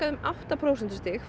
um átta prósentustig